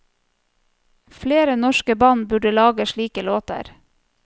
Flere norske band burde lage slike låter.